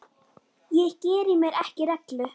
Ég geri mér ekki rellu.